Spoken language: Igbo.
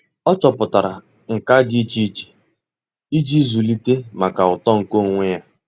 Ọ́ chọ́pụ̀tárà nkà dị́ iche iche íjí zụ́líté màkà uto nke onwe ya.